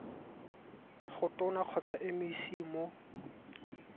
go tona kgotsa mec mo